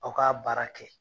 Aw ka baara kɛ.